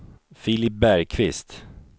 Filip Bergkvist